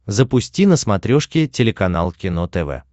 запусти на смотрешке телеканал кино тв